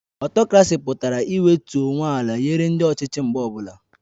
Ọtokrasi pụtara iwetu onwe ala nyere ndị ọchịchị mgbe ọbụla